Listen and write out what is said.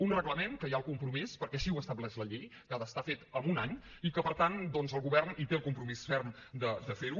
un reglament que hi ha el compromís perquè així ho estableix la llei que ha d’estar fet en un any i que per tant doncs el govern en té el compromís ferm de fer lo